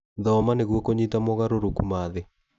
Thoma nĩguo kũnyita mogarũrũku ma thĩ.